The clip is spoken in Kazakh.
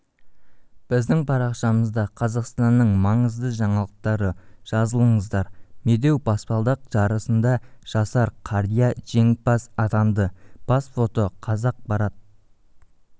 біздің парақшамызда қазақстанның маңызды жаңалықтары жазылыңыздар медеу баспалдақ жарысында жасар қария жеңімпаз атанды бас фото қазақпарат